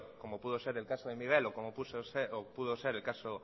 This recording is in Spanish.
como pudo ser el caso de miguel o como pudo ser el caso